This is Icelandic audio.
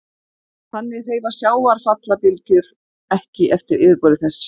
Þannig hreyfast sjávarfallabylgjur ekki eftir yfirborði þess.